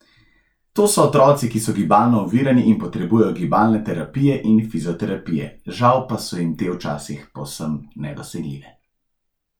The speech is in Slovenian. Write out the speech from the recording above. To so otroci, ki so gibalno ovirani in potrebujejo gibalne terapije in fizioterapije, žal pa so jim te včasih povsem nedosegljive.